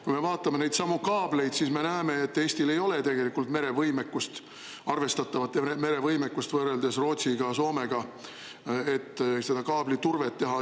Kui me vaatame neidsamu kaableid, siis näeme, et Eestil ei ole tegelikult merevõimekust, arvestatavat merevõimekust võrreldes Rootsi ja Soomega, et seda kaabliturvet teha.